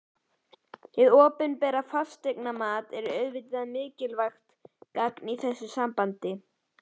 Hið opinbera fasteignamat er auðvitað mikilvægt gagn í þessu sambandi.